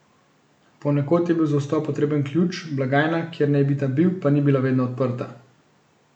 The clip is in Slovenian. Ponekod je bil za vstop potreben ključ, blagajna, kjer naj bi ta bil, pa ni bila vedno odprta.